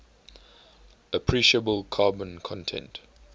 appreciable carbon content